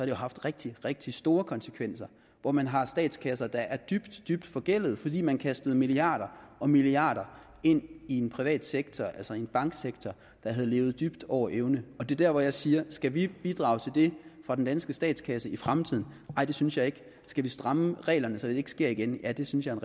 jo haft rigtig rigtig store konsekvenser hvor man har statskasser der er dybt dybt forgældede fordi man kastede milliarder og milliarder ind i en privat sektor altså i en banksektor der havde levet dybt over evne og det er der hvor jeg siger skal vi bidrage til det fra den danske statskasse i fremtiden nej det synes jeg ikke skal vi stramme reglerne så det ikke sker igen ja det synes jeg er